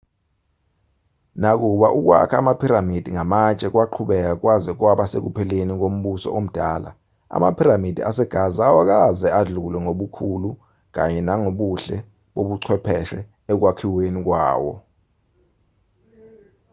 nakuba ukwakha amaphiramidi ngamatshe kwaqhubeka kwaze kwaba sekupheleni kombuso omdala amaphiramidi asegaza awakaze adlulwe ngobukhulu kanye nangobuhle bobuchwepheshe ekwakhiweni kwawo